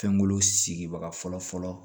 Fɛnkolo sigibaga fɔlɔ fɔlɔ